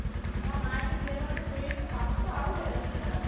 অ, মায়েতো BED কাৰণে চিঞৰি আছে papa তো আৰু লেবেল কি জান'নে নাই ?